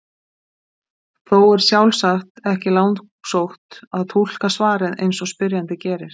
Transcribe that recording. Þó er sjálfsagt ekki langsótt að túlka svarið eins og spyrjandi gerir.